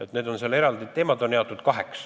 Teemad on seal kaheks jagatud.